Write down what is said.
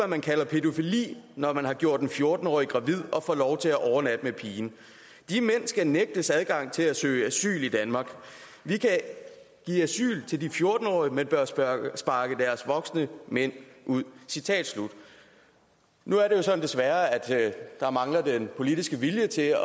man kalder pædofili når man har gjort en fjorten årig gravid og får lov til at overnatte med pigen de mænd skal nægtes adgang til at søge asyl i danmark vi kan give asyl til de fjorten årig men bør sparke deres voksne mænd ud nu er det desværre sådan at der mangler den politiske vilje til at